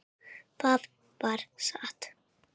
Það var satt.